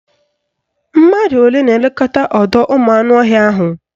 Mmadụ olee na-elekọta ọdọụmụanụọhịa ahụ?